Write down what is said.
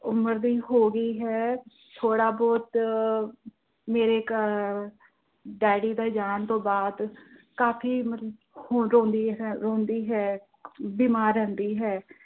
ਉਮਰ ਦੀ ਹੋ ਗਈ ਹੈ, ਥੋੜਾ ਬਹੁਤ ਮੇਰੇ ਘਰ ਅਹ daddy ਦੇ ਜਾਣ ਤੋਂ ਬਾਅਦ ਕਾਫ਼ੀ ਮਤਲਬ ਰੋਂਦੀ ਹੈ ਬਿਮਾਰ ਰਹਿੰਦੀ ਹੈ।